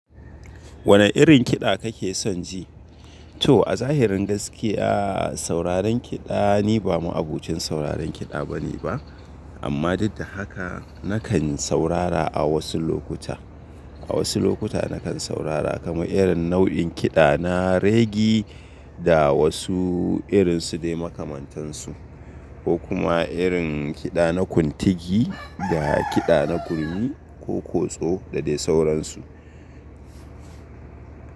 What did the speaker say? Wane irin kiɗa kake son ji? To a zahirin gaskiya, sauraron kiɗa ni ba ma abokin sauraron kiɗa bane ba, amma duk da haka nakan saurara a wasu lokuta. A wasu lokuta nakan saurara kamar irin nau'in kiɗa na reggae da wasu irinsu dai makamantansu, ko kuma irin kiɗa na kuntigi da kiɗa na gurmi ko kotso da dai sauransu.